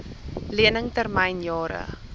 lening termyn jare